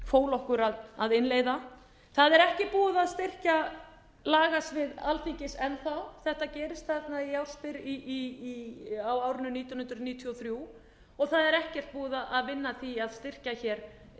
fól okkur að innleiða það er ekki búið að styrkja lagasvið alþingis enn þá þetta gerist þarna á árinu nítján hundruð níutíu og þrjú og það er ekkert búið að vinna að því að styrkja hér